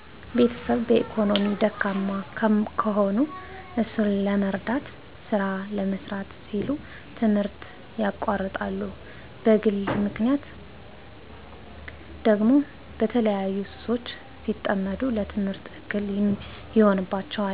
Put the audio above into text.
ቤተሰብ በኢኮኖሚ ደካማ ከሆኑ እሱን ለመርዳት ስራ ለመስራት ሲሉ ትምህርት ያቋርጣሉ በግል ምክንያት ደግሞ በተለያዩ ሱሶች ሲጠመዱ ለትምህርት እክል ይሆናቸዋል